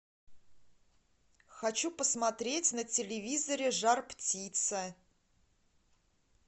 хочу посмотреть на телевизоре жар птица